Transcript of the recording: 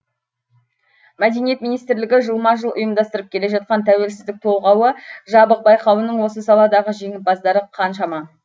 мәдениет министрлігі жылма жыл ұйымдастырып келе жатқан тәуелсіздік толғауы жабық байқауының осы саладағы жеңімпаздары қаншама